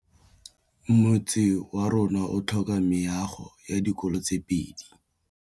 Motse warona o tlhoka meago ya dikolô tse pedi.